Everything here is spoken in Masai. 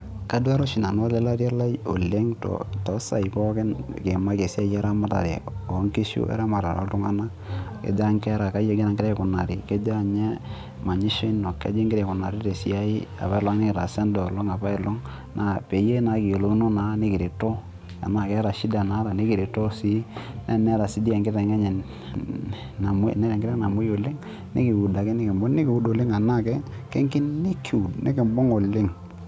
Kaduaare oshi nanu ole latia lai oleng too saai pookin nikiimaki esiai eramatare oo nkishu o eramatare oo oltuga'na , kejaa nkera, kaaji egira nkera aikunari, kejaa ninye manyisho ino, kaji ingiraa aikunari te siaai apa nikitaasa enda olong apa ai long, na peyiee kiyiolouna nikireto tenaa keeta shinda naata nikireto sii, teneeta enkiteng enye eeh namwoi oleng, nikiuud ake nikibung nikiuud oleng enaa kekini kiud nikibung oleng.